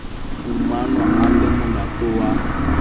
fumanwa a le molato wa